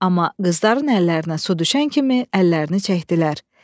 Amma qızların əllərinə su düşən kimi əllərini çəkdilər.